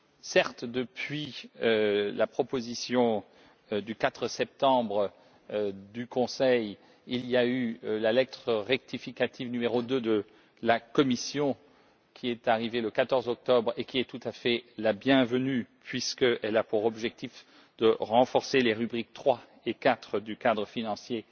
Certes, depuis la proposition du 4 septembre du Conseil, il y a eu la lettre rectificative n° 2 de la Commission qui est arrivée le 14 octobre et qui est tout à fait la bienvenue, puisqu'elle a pour objectif de renforcer les rubriques 3 et 4 du cadre financier